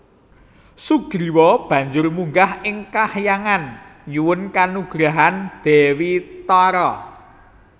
Sugriwa banjur munggah ing kahyangan nyuwun kanugrahan Dewi Tara